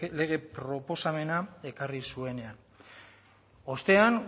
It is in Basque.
lege proposamena ekarri zuenean ostean